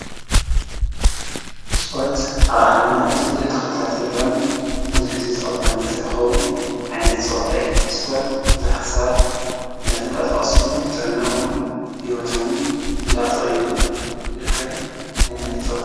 ስፖርት ኣብ ዓለምና እቲ ብዙሕ ተኸታሊ ዘለዎን ብብዙሕ ህዝቢ ተቀባልነት ዝረኸቡን ዓይነት ፀዋታ እዩ። ስፖርት ብዙሓት ሰባት እንዳተንቀሳቀስሉን ጥዕኖኦምን ሂወቶምን እንዳተቀየሩ ዝርከብ ዓይነት ፀዋታ እዩ።